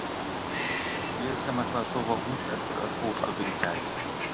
Ég sem ætlaði að sofa út eftir öll ósköpin í gær.